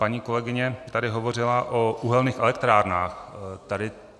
Paní kolegyně tady hovořila o uhelných elektrárnách.